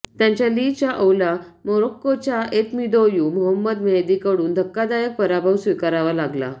त्यांच्या लि चाओला मोरोक्कोच्या ऐतमिदोयू मोहमद मेहदीकडून धक्कादायक पराभव स्वीकारावा लागला